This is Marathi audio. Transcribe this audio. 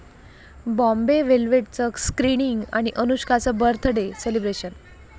बॉम्बे वेलव्हेट'चं स्क्रिनिंग आणि अनुष्काचं बर्थ डे सेलिब्रेशन